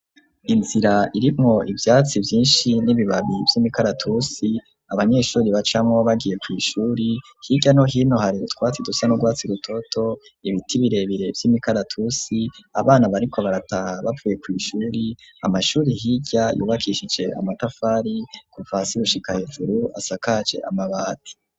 Inzira irimwo ivyatsi vyinshi n'ibibabi vy'imikaratusi abanyeshuri bacamwo bagiye kw,ishuri, hirya no hino har'utwatsi dusa n'urwatsi rutoto, ibiti birebire vy'imikaratusi, abana bariko barataha bavuye kw'ishuri ,amashuri hirya yubakishije amatafari kuva hasi gushika hejuru asakaje amabati.